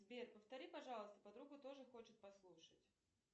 сбер повтори пожалуйста подруга тоже хочет послушать